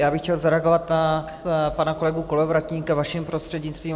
Já bych chtěl zareagovat na pana kolegu Kolovratníka, vaším prostřednictvím.